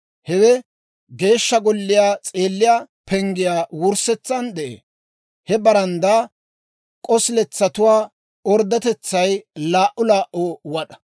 Hewe Geeshsha Golliyaa s'eelliyaa penggiyaa wurssetsan de'ee. He baranddaa k'osiletsatuwaa orddotetsay laa"u laa"u wad'aa.